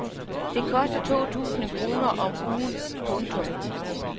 Det koster to tusind kroner om ugen. punktum